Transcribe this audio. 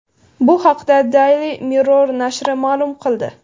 Bu haqda Daily Mirror nashri ma’lum qil di .